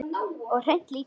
Og hreint líka!